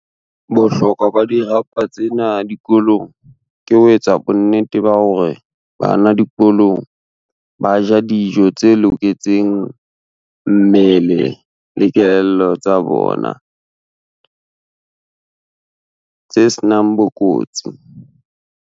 Bohlokwa ba dirapa tsena dikolong ke ho etsa bonnete ba hore bana dikolong, ba ja dijo tse loketseng mmele le kelello tsa bona tse senang bokotsi.